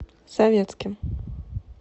советским